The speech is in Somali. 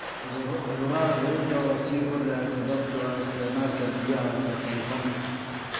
Cudurada dhirta oo sii kordhaya sababtoo ah isticmaalka biyaha wasakhaysan.